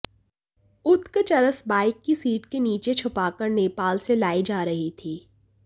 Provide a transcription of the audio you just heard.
उक्त चरस बाइक की सीट के नीचे छुपाकर नेपाल से लाई जा रही थी